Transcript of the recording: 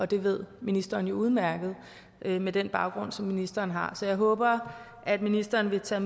det ved ministeren udmærket med den baggrund som ministeren har så jeg håber at ministeren vil tage